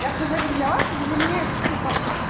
я хз как для вас но для меня это тупо